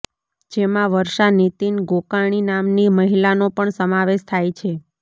જેમાં વર્ષા નિતીન ગોકાણી નામની મહિલાનો પણ સમાવેશ થાય છે